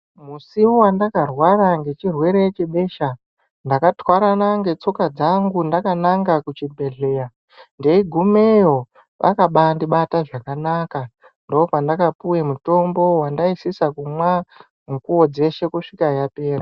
Musi vandakarwara ngechirwere chebesha, ndakatwarana netsoka dzangu ndakananga kuchibhedhleya. Ndeigumeyo akabandibata zvakanaka, ndopandakapuve mutombo vandaisisa kumwa mukuvo dzeshe kusvika yapera.